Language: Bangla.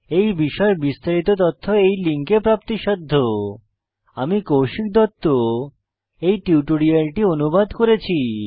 এই বিষয়ে বিস্তারিত তথ্য এই লিঙ্কে প্রাপ্তিসাধ্য httpspoken tutorialorgNMEICT Intro আমি কৌশিক দত্ত এই টিউটোরিয়ালটি অনুবাদ করেছি